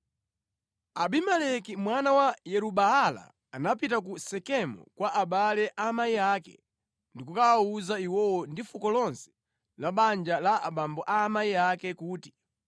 Abimeleki mwana wa Yeru-Baala anapita ku Sekemu kwa abale a amayi ake ndi kukawawuza iwowo ndi fuko lonse la banja la abambo a amayi ake kuti,